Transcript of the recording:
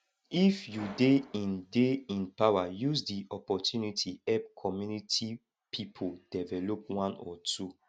if you de in de in power use di opportunity help community pipo develop one or two